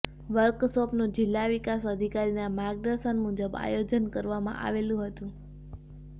વર્કશોપનું જીલ્લા વિકાસ અધિકારીના માર્ગદર્શન મુજબ આયોજન કરવામાં આવેલ હતું